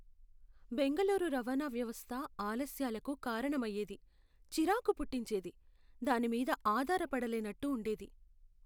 బెంగళూరు రవాణా వ్యవస్థ ఆలస్యాలకు కారణమయ్యేది, చిరాకు పుట్టించేది, దాని మీద ఆధారపడలేనట్టు ఉండేది.